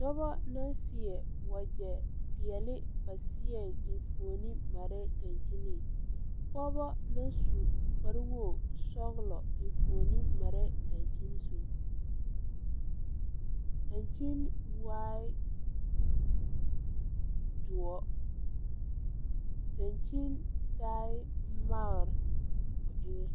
Dɔbɔ la seɛ wagyɛ peɛle ba seɛŋ enfuone parɛɛ daŋkyineŋ pɔɔbɔ naŋ su kpare wogesɔglɔ enfuone marɛɛ daŋkyini zu daŋkyini waai doɔ daŋkyini taai magre o eŋɛ.